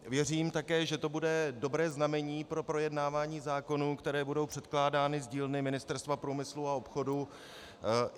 Věřím také, že to bude dobré znamení pro projednávání zákonů, které budou předkládány z dílny Ministerstva průmyslu a obchodu.